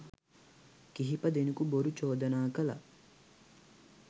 කිහිප දෙනකු බොරු චෝදනා කළා.